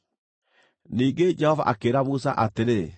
Ningĩ Jehova akĩĩra Musa atĩrĩ,